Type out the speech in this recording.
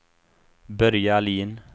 Börje Ahlin